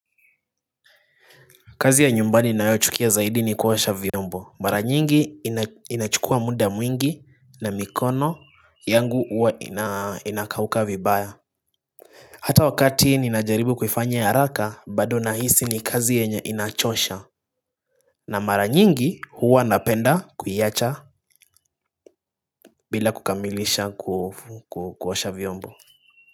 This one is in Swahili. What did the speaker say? Kazi ya nyumbani ninayochukia zaidi ni kuosha vyombo, mara nyingi inachukua muda mwingi na mikono yangu huwa inakauka vibaya. Hata wakati ninajaribu kuifanya haraka bado nahisi ni kazi yenye inachosha. Na mara nyingi huwa napenda kuiacha bila kukamilisha kuosha vyombo.